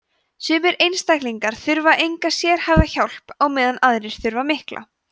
sumir einstaklingar þurfa enga sérhæfða hjálp á meðan aðrir þurfa mikla